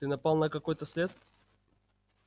ты напал на какой-то след